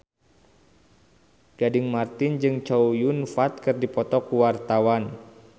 Gading Marten jeung Chow Yun Fat keur dipoto ku wartawan